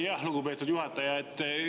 Jah, lugupeetud juhataja!